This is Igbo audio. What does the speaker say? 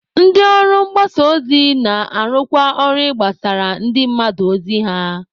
Ndị ụlọ mgbasa ozi na-arụkwa ọrụ ịgbasara ndị mmadụ ozi ha.